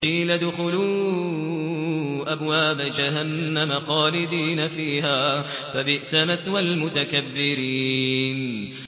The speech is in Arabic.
قِيلَ ادْخُلُوا أَبْوَابَ جَهَنَّمَ خَالِدِينَ فِيهَا ۖ فَبِئْسَ مَثْوَى الْمُتَكَبِّرِينَ